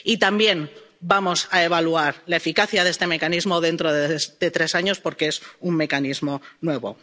Y, también, vamos a evaluar la eficacia de este mecanismo dentro de tres años porque es un mecanismo